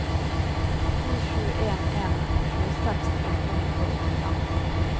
to sju en en tjueseks åtte hundre og åttifem